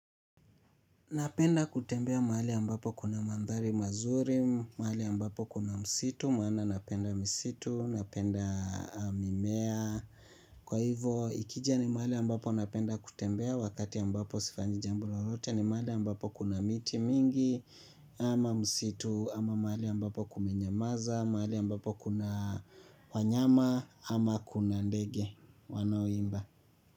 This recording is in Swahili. Napenda kutembea mahali ambapo kuna mandhari mazuri, mahali ambapo kuna msitu, maana napenda misitu, napenda mimea. Kwa hivo ikija ni mahali ambapo napenda kutembea wakati ambapo sifanyi jambo lolote ni mahali ambapo kuna miti mingi ama msitu ama mahali ambapo kumenyamaza, mahali ambapo kuna wanyama ama kuna ndege wanaoimba.